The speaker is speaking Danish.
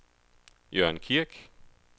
Jørn Kirk